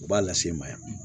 O b'a lase i ma yan